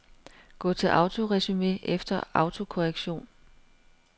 Gå til autoresumé efter autokorrektion.